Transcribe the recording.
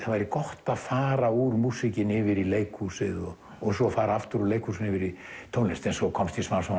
það væri gott að fara úr músíkinni yfir í leikhúsið og svo fara aftur úr leikhúsinu yfir í tónlist svo komst ég smám saman